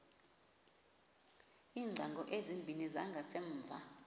iingcango ezimbini zangasemva